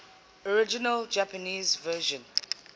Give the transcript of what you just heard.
original japanese version